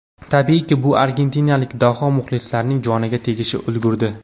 Tabiiyki, bu argentinalik daho muxlislarining joniga tegishga ulgurdi.